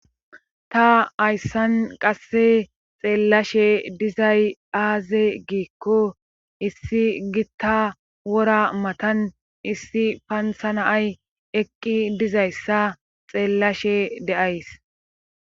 ta ayssan qasse xeellashe dizay aaze giikko issi gitta wora matan issi pansanaay eqqi dizayssa xeellashe deays